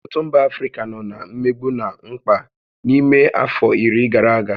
Ọtụtụ mba Africa nọ na mmegbu na mkpa n'ime afọ iri gara aga